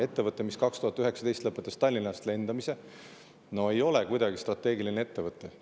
Ettevõte, mis 2019. aastal lõpetas Tallinnast lendamise, ei ole kuidagi strateegiline ettevõte.